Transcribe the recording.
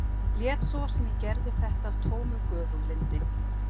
Lét svo sem ég gerði þetta af tómu göfuglyndi.